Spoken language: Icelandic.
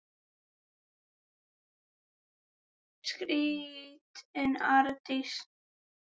skríkti Arndís.